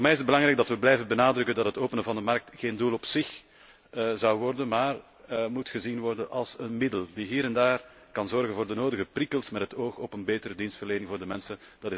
Voor mij is het belangrijk dat wij blijven benadrukken dat het openen van de markt geen doel op zich zal worden, maar moet worden gezien als een middel dat hier en daar kan zorgen voor de nodige prikkels met het oog op een betere dienstverlening voor de mensen.